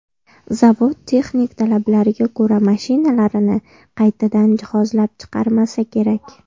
Zavod texnik talablarga ko‘ra mashinalarini qaytadan jihozlab chiqarmasa kerak.